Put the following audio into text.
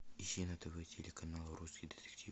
ищи на тв телеканал русский детектив